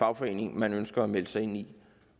fagforening man ønsker at melde sig ind i